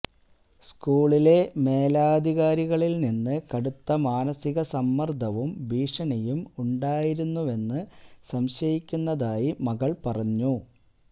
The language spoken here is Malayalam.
സ്കൂളിലെ മേലധികാരികളില് നിന്ന് കടുത്ത മാനസിക സമ്മര്ദ്ദവും ഭീഷണിയും ഉണ്ടായിരുന്നെന്ന് സംശയിക്കുന്നതായി മകള് പറഞ്ഞു